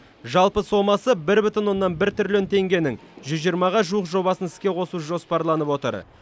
жалпы сомасы бір бүтін оннан бір триллион теңгенің жүз жиырмаға жуық жобасын іске қосу жоспарланып отыр